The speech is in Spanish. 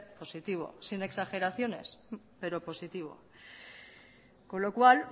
positivo sin exageraciones pero positivo con lo cual